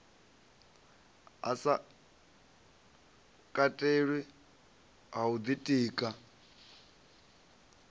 sa katelwi ha u ḓitika